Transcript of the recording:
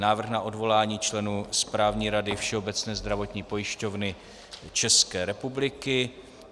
Návrh na odvolání členů Správní rady Všeobecné zdravotní pojišťovny České republiky